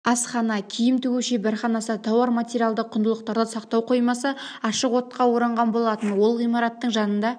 асхана киім тігу шеберханасы тауар-материалдық құндылықтарды сақтау қоймасы ашық отқа оранған болатын от ғимараттың жанында